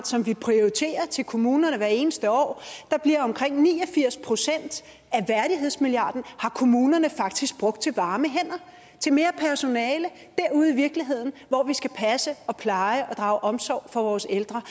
som vi prioriterer til kommunerne hvert eneste år omkring ni og firs procent af værdighedsmilliarden har kommunerne faktisk brugt til varme hænder til mere personale derude i virkeligheden hvor vi skal passe og pleje og drage omsorg for vores ældre